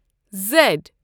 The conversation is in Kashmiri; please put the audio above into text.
زیٚڈ